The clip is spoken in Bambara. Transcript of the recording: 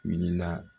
Wulila